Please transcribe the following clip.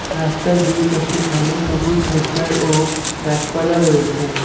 রাস্তার দুইপাশে ঘন সবুজ ঝোরঝাড় ও গাছপালা রয়েছে।